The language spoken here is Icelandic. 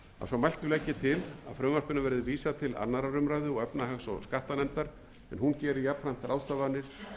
svo mæltu legg ég til að frumvarpinu verði vísað til annarrar umræðu og efnahags og skattanefndar og hún geri jafnframt ráðstafanir